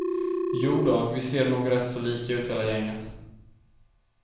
Jodå, vi ser nog rätt så lika ut hela gänget.